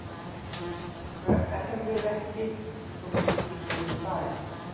Hverfur ekki þótt ríkisstjórnin fari